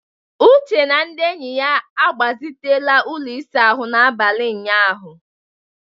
Uche na ndị enyi ya agbazitela ụlọ ịsa ahụ n'abalị ụnyaahụ